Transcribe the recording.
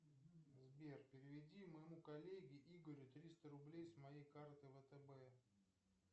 сбер переведи моему коллеге игорю триста рублей с моей карты втб